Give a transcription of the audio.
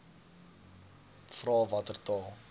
vra watter taal